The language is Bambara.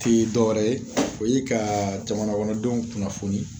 Ti dɔwɛrɛ ye o ye ka jamanakɔnɔdenw kunnafoni